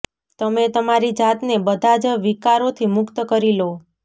તમે તમારી જાતને બધા જ વિકારોથી મુક્ત કરી લો